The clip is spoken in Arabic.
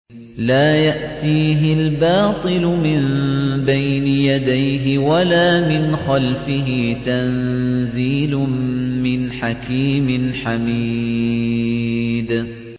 لَّا يَأْتِيهِ الْبَاطِلُ مِن بَيْنِ يَدَيْهِ وَلَا مِنْ خَلْفِهِ ۖ تَنزِيلٌ مِّنْ حَكِيمٍ حَمِيدٍ